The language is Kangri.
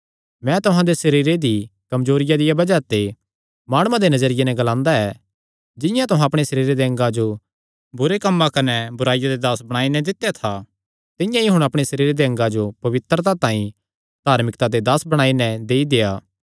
मैं तुहां दे सरीरे दी कमजोरिया दिया बज़ाह ते माणुआं दे नजरिये नैं ग्लांदा ऐ जिंआं तुहां अपणे सरीरे दे अंगा जो बुरे कम्मां कने बुराईया दे दास बणाई नैं दित्या था तिंआं ई हुण अपणे सरीरे दे अंगा जो पवित्रता तांई धार्मिकता दे दास बणाई नैं देई देआ